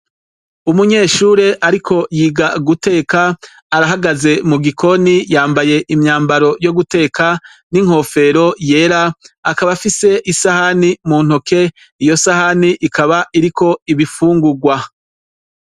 Umunyeshure ariko yiga guteka, arahagaze mu gikoni yambaye imyambaro yo guteka n'inkofero yera akaba afise isahani mu ntoke iyo sahani ikaba iriko ibifungurwa.